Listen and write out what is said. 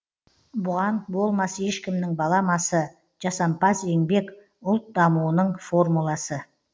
бұған болмас ешкімнің баламасы жасампаз еңбек ұлт дамуының формуласы